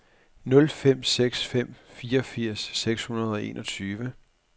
nul fem seks fem fireogfirs seks hundrede og enogtyve